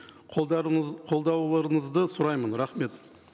қолдауларыңызды сұраймын рахмет